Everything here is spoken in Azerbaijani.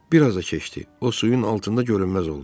Bir az da keçdi, o suyun altında görünməz oldu.